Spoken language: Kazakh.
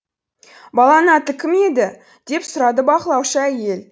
баланың аты кім еді деп сұрады бақылаушы әйел